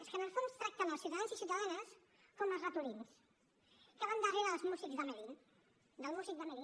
és que en el fons tracten els ciutadans i ciutadanes com als ratolins que van darrere del músic d’hamelín